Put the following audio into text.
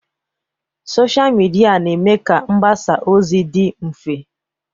Sochịa midia na-eme ka mgbasa ozi dị mfe.